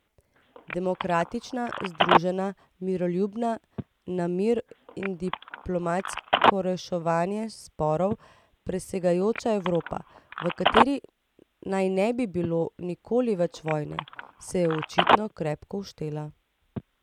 Demokratična, združena, miroljubna, na mir in diplomatsko reševanje sporov prisegajoča Evropa, v kateri naj ne bi bilo nikoli več vojne, se je očitno krepko uštela.